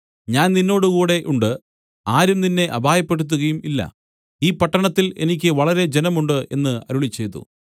ഞാൻ നിന്നോടുകൂടെ ഉണ്ട് ആരും നിന്നെ അപായപ്പെടുത്തുകയില്ല ഈ പട്ടണത്തിൽ എനിക്ക് വളരെ ജനമുണ്ട് എന്ന് അരുളിച്ചെയ്തു